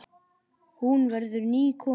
Hún verður ný kona.